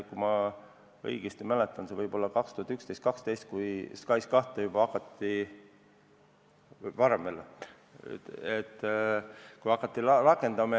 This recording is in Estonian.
Kui ma õigesti mäletan, siis võib-olla 2011 või 2012 hakati juba SKAIS2 rakendama.